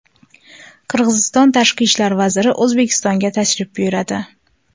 Qirg‘iziston tashqi ishlar vaziri O‘zbekistonga tashrif buyuradi.